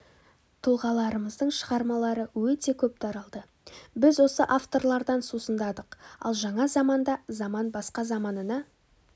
тұлғаларымыздың шығармалары өте көп таралды біз осы авторлардан сусындадық ал жаңа заманда заман басқа заманына